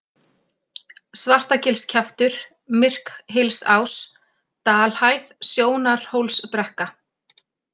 Svartagilskjaftur, Myrkhylsás, Dalhæð, Sjónarhólsbrekka